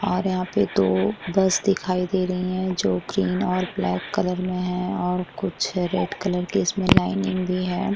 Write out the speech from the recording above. और यहाँ पे दो बस दिखाई दे रही है जो ग्रीन और ब्लैक कलर में है और कुछ रैट कलर की इसमें लाइनिंग भी है।